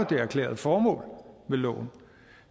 det erklærede formål med loven